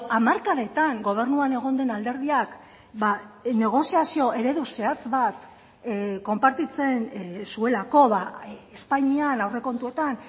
hamarkadetan gobernuan egon den alderdiak negoziazio eredu zehatz bat konpartitzen zuelako espainian aurrekontuetan